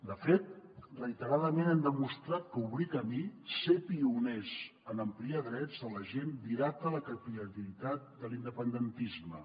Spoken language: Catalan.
de fet reiteradament hem demostrat que obrir camí ser pioners en ampliar drets de la gent dilata la capil·laritat de l’independentisme